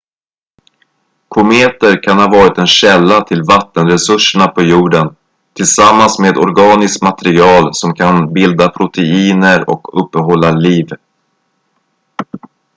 kometer kan ha varit en källa till vattenresurserna på jorden tillsammans med organiskt material som kan bilda proteiner och uppehålla liv